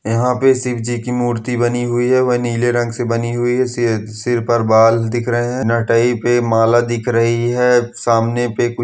यहाँ पे शिवजी की मूर्ति बानी हुई है। वह नील रंग से बानी हुई है। सिर पर बल दिख रहे है नाटइ पे माला दिख रही है। सामने पे कुछ--